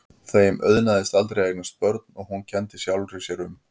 Þeim auðnaðist aldrei að eignast börn og hún kenndi sjálfri sér um.